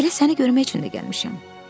Elə səni görmək üçün də gəlmişəm.